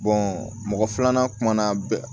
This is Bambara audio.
mɔgɔ filanan kumana bɛɛ